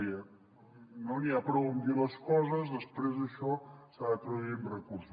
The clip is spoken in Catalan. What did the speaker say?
deia no n’hi ha prou amb dir les coses després això s’ha de traduir en recursos